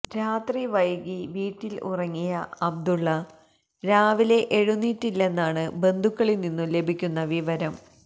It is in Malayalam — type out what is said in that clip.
രാത്രി വൈകി വീട്ടിൽ ഉറങ്ങിയ അബ്ദുള്ള രാവിലെ എഴുന്നേറ്റില്ലെന്നാണ് ബന്ധുക്കളിൽ നിന്നും ലഭിക്കുന്ന വിവരം